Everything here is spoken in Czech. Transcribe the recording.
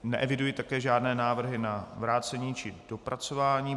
Neeviduji také žádné návrhy na vrácení či dopracování.